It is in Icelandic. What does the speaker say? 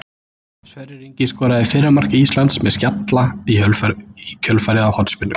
Sverrir Ingi skoraði fyrra mark Íslands með skalla í kjölfarið á hornspyrnu.